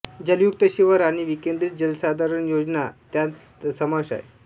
जलयुक्त शिवार आणि विकेंद्रित जलसंधारण योजना यांचा त्यात समावेश आहे